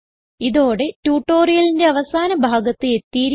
ഇതോടെ ട്യൂട്ടോറിയലിന്റെ അവസാന ഭാഗത്ത് എത്തിയിരിക്കുന്നു